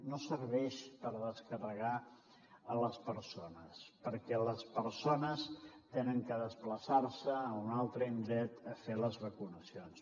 no serveix per descarregar les persones perquè les persones han de desplaçar se a un altre indret a fer les vacunacions